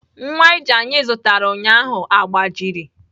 Nwa ije anyị zụtara ụnyaahụ agbajiri.